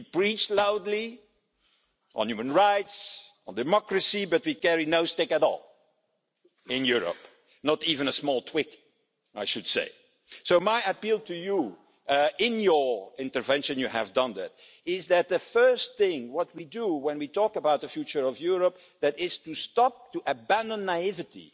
We preach loudly on human rights, on democracy, but we carry no stick at all, in Europe, not even a small twig I should say. So, my appeal to you and in your intervention you have mentioned this is that the first thing we do when we talk about the future of Europe, is to stop and abandon naivety